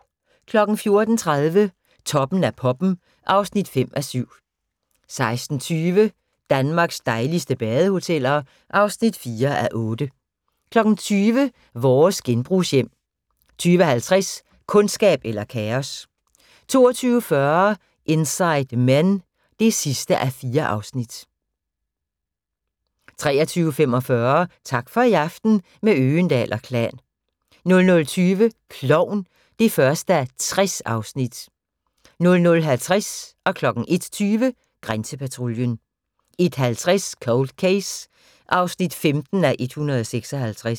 14:30: Toppen af poppen (5:7) 16:20: Danmarks dejligste badehoteller (4:8) 20:00: Vores genbrugshjem 20:50: Kundskab eller kaos 22:40: Inside Men (4:4) 23:45: Tak for i aften – med Øgendahl & Klan 00:20: Klovn (1:60) 00:50: Grænsepatruljen 01:20: Grænsepatruljen 01:50: Cold Case (15:156)